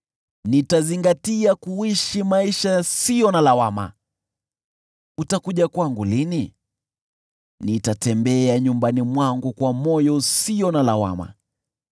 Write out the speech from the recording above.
Nitazingatia kuishi maisha yasiyo na lawama: utakuja kwangu lini? Nitatembea nyumbani mwangu kwa moyo usio na lawama.